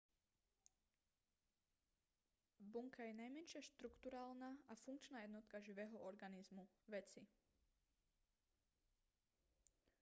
bunka je najmenšia štrukturálna a funkčná jednotka živého organizmu veci